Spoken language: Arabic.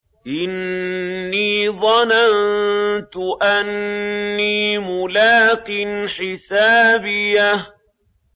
إِنِّي ظَنَنتُ أَنِّي مُلَاقٍ حِسَابِيَهْ